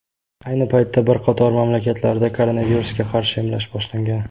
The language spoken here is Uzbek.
Ayni paytda bir qator mamlakatlarda koronavirusga qarshi emlash boshlangan.